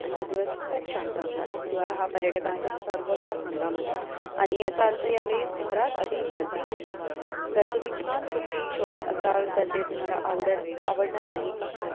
आणि दिवस खूप शांत असतात हिवाळा हा पर्यटकांचा सर्वोत्तम हंगाम आहे आणि याचा अर्थ ह्यावेळी शहरात अधिक गर्दी होते जर तुम्ही छान सुट्टी शोधत असाल तर ते तुम्हाला आवडत आवडणार नाही का